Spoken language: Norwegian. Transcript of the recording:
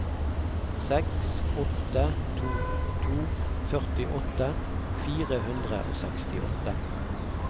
seks åtte to to førtiåtte fire hundre og sekstiåtte